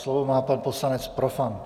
Slovo má pan poslanec Profant.